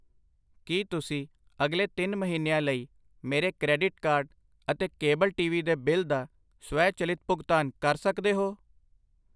ਕੀ ਤੁਸੀਂਂ ਅਗਲੇ ਤਿੰਨ ਮਹੀਨਿਆਂ ਲਈ ਮੇਰੇ ਕਰੇਡਿਟ ਕਾਰਡ ਅਤੇ ਕੇਬਲ ਟੀ.ਵੀ ਦੇ ਬਿੱਲ ਦਾ ਸਵੈਚਲਿਤ ਭੁਗਤਾਨ ਕਰ ਸਕਦੇ ਹੋ?